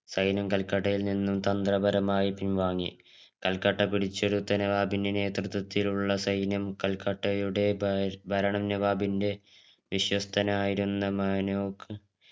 സൈന്യം കൽക്കട്ടയിൽ നിന്നും തന്ത്രപരമായി പിൻവാങ്ങി കൽക്കട്ട പിടിച്ചെടുത്ത നവാബിൻറെ നേതൃത്വത്തിലുള്ള സൈന്യം കൽക്കട്ടയുടെ ഭ ഭരണ നവാബിന്റെ വിസ്ത്യസ്തനായിരുന്ന മനോക